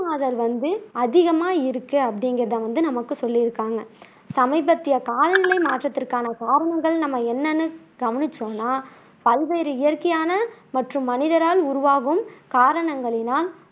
வெப்பமாதல் வந்து அதிகமா இருக்கு அப்படிங்குறதை வந்து நமக்கு சொல்லியிருக்காங்க சமீபத்திய காலநிலை மாற்றத்திற்கான காரணங்கள் என்னன்னு நம்ம கவனிச்சோம்னா, பல்வேறு இயற்கையான மற்றும் மனிதரால்-உருவாகும் காரணங்களினால்